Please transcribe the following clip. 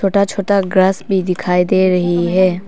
छोटा छोटा ग्रास भी दिखाई दे रही है।